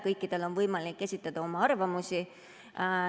Kõikidel on võimalik esitada oma arvamusi.